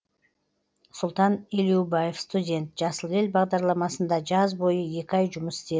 сұлтан елеубаев студент жасыл ел бағдарламасында жаз бойы екі ай жұмыс істедім